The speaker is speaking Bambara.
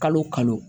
Kalo kalo